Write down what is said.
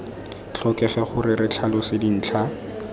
tlhokege gore re tlhalose dintlha